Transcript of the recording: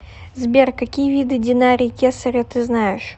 сбер какие виды динарий кесаря ты знаешь